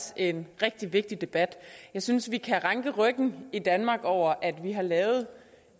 en rigtig vigtig debat jeg synes vi kan ranke ryggen i danmark over at vi har lavet